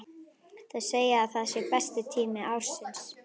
Þau segja að það sé besti tími ársins.